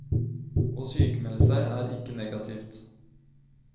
Å sykmelde seg er ikke negativt.